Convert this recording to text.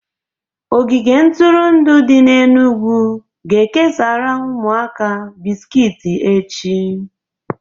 Ogige ntụrụndụ dị n'Enugwu ga-ekesara ụmụaka bisikiti echị